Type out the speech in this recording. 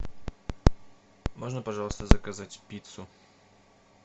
можно пожалуйста заказать пиццу